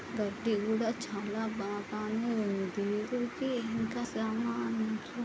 Birthday కూడా చాలా బాగానే వుంది. దీనికి ఇంకా సామాను--